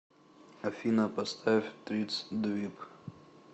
афина поставь тритс двиб